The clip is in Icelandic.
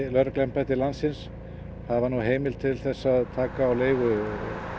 lögregluembætti landsins hafa nú heimild til þess að taka á leigu